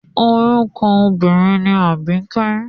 Orúkọ obínrin ni Àbíkẹ́.